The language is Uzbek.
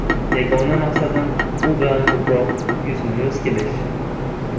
Yagona maqsadim u bilan ko‘proq yuzma-yuz kelish.